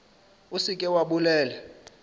o se ke wa bolela